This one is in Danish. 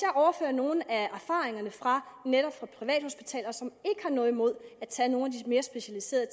jeg overfører nogle af erfaringerne fra netop privathospitaler som ikke har noget imod at tage nogle af de mere specialiserede